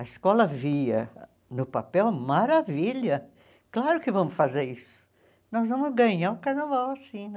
A escola via no papel maravilha, claro que vamos fazer isso, nós vamos ganhar o carnaval assim, né?